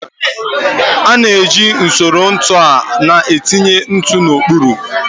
A na-eji usoro ntu a na-etinye ntu n'okpuru.